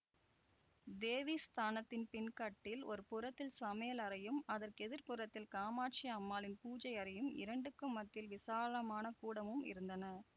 தேவி ஸ்தானத்தின் பின்கட்டில் ஒரு புறத்தில் சமையல் அறையும் அதற்கு எதிர் புறத்தில் காமாட்சி அம்மாளின் பூஜை அறையும் இரண்டுக்கும் மத்தியில் விசாலமான கூடமும் இருந்தன